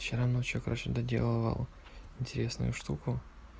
вчера ночью короче доделывал интересную штуку